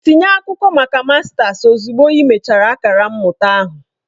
Tinye akwụkwọ maka mastasi ozugbo ị mechara akara mmụta ahụ!